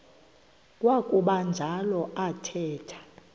kwakuba njalo athetha